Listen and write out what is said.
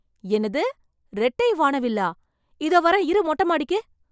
என்னது! ரெட்டை வானவில்லா! இதோ வரேன் இரு மொட்டை மாடிக்கு.